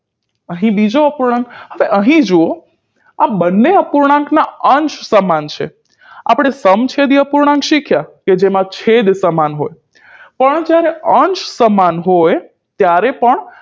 અહીં બીજો અપૂર્ણાંક હવે અહીં જુઓ આ બંને અપૂર્ણાંકના અંશ સમાન છે આપણે સમછેદી અપૂર્ણાંક શીખ્યા કે જેમાં છેદ સમાન હોય પણ જ્યારે અંશ સમાન હોય ત્યારે પણ